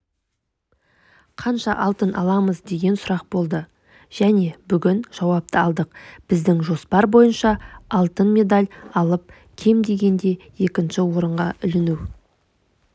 қанша алтын аламыз деген сұрақ болды міне бүгін жауапты алдық біздің жоспар бойынша алтын медаль алып кем дегенде екінші орынға іліну